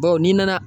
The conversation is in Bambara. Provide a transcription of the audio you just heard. Bawo n'i nana